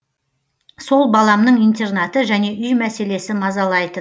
сол баламның интернаты және үй мәселесі мазалайтын